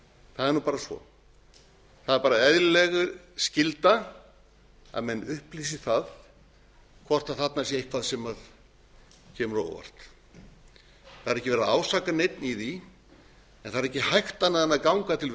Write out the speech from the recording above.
það er bara svo það er eðlileg skylda að menn upplýsi það hvort þarna sé eitthvað sem kemur á óvart það er ekki verið að ásaka neinn með því en það er ekki hægt annað en ganga til